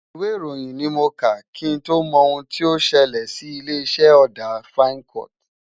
Ìwé ìròyìn ni mo kà, kí n tó mọ ohun tí ó ṣẹlẹ̀ sí ilé-iṣẹ́ ọ̀dà Fincoat.